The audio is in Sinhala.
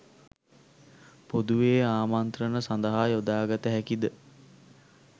පොදුවේ ආමන්ත්‍රණ සඳහා යොදාගත හැකිද